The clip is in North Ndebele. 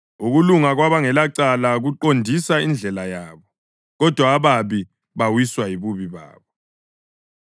Ukulunga kwabangelacala kuqondisa indlela yabo, kodwa ababi bawiswa yibubi babo.